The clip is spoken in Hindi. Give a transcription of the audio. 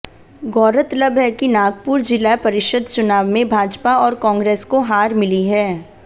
गौरतलब है कि नागपुर जिला परिषद चुनाव में भाजपा और कांग्रेस को हार मिली है